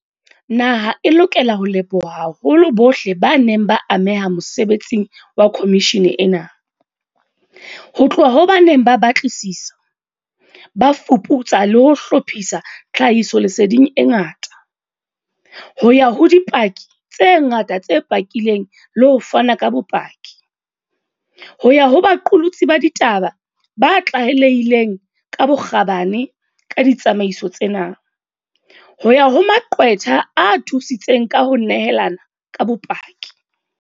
Naha e lokela ho leboha haholo bohle ba neng ba ameha mosebetsing wa khomishene ena, ho tloha ho ba neng ba batlisisa, ba fuputsa le ho hlophisa tlha hisoleseding e ngata, ho ya ho dipaki tse ngata tse pakileng le ho fana ka bopaki, ho ya ho baqolotsi ba ditaba ba tlalehileng ka bokgabane ka ditsamaiso tsena, ho ya ho maqwetha a thusitseng ka ho nehelana ka bopaki.